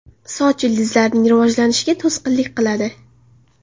Soch ildizlarining rivojlanishiga to‘sqinlik qiladi.